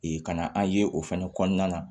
kana an ye o fɛnɛ kɔnɔna na